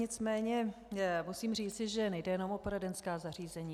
Nicméně musím říci, že nejde jenom o poradenská zařízení.